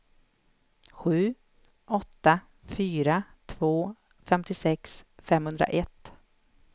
sju åtta fyra två femtiosex femhundraett